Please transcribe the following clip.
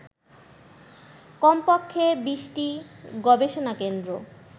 কমপক্ষে ২০টি গবেষণাকেন্দ্র